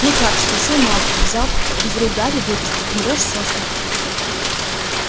ну как спросил малфой взяв из рук гарри вырезку умрёшь со смеху